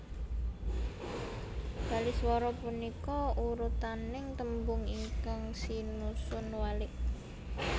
Baliswara punika urutaning tembung ingkang sinusun walik